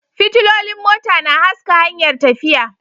Fitilolin mota na haska hanyar tafiya